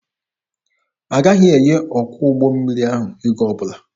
Agaghị enye ọkwọ ụgbọ mmiri ahụ ego ọbụla.